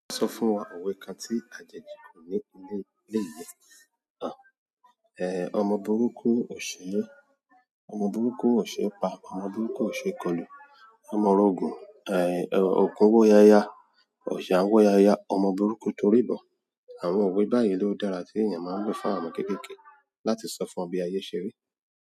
Ó sọ fún wa òwe kan tí a jẹ́ dì kún ní ilé, ilé ìyẹ́. Àn, ẹ, ọmọ burúkú ò ṣe, ọmọ burúkú ò ṣe pa, ọmọ burúkú ò ṣe kolù. Ọmọ orogun, ẹ, òkun wó yaya, ọ̀sẹ̀ wó yaya, ọmọ burúkú torí bọ. Àwọn owé báyìí ló dára tí ènìyàn máa ń lo fún àwọn ọmọ kéékèèké láti sọ fún wọn bí ayẹ ṣe rí.